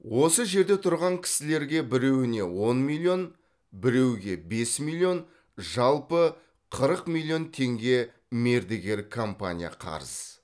осы жерде тұрған кісілерге біреуіне он миллион біреуге бес миллион жалпы қырық миллион теңге мердігер компания қарыз